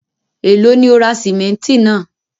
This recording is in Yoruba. Ẹ̀lọ́ ni o ra símẹ̀ntì náà?